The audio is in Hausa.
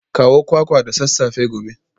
Kawo kwakwa da sassafe gobe